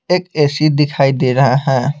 एक ए_सी दिखाई दे रहा है।